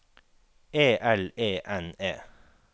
E L E N E